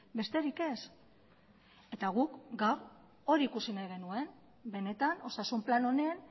besterik ez eta guk gaur hori ikusi nahi genuen benetan osasun plan honen